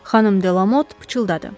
Xanım Delamot pıçıldadı.